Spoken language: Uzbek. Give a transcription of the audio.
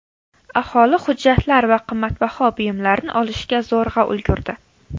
Aholi hujjatlar va qimmatbaho buyumlarni olishga zo‘rg‘a ulgurdi.